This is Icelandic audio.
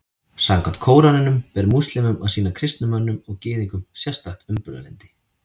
Samkvæmt Kóraninum ber múslímum að sýna kristnum mönnum og Gyðingum sérstakt umburðarlyndi.